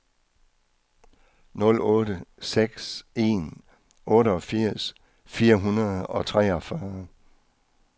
nul otte seks en otteogfirs fire hundrede og treogfyrre